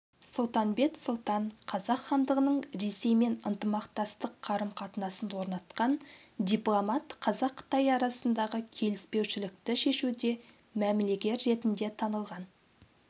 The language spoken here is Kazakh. сұлтанбет сұлтан қазақ хандығының ресеймен ынтымақтастық қарым-қатынасын орнатқан дипломат қазақ-қытай арасындағы келіспеушілікті шешуде мәмілегер ретінде танылған